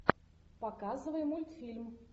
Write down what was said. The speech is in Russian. показывай мультфильм